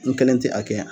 N kelen tɛ a kɛ yan